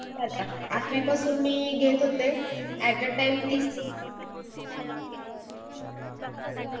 तवपासून मी घेत होते आठवीपर्यंत तीस